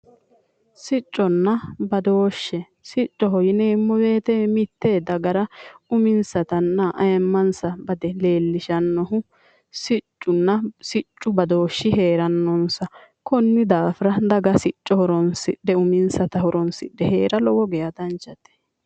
Sicconna badooshshe, siccoho yineemmo woyiite mitte dagara uminsatanna ayiimmansa bade leellishanno siccunna siccu badooshshi heerannonsa konni daafira daga sicco horoonsidhe uminsata horoonsidhe heera lowo geya danchate.